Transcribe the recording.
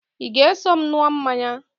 Ị ga-eso m ṅụọ mmanya?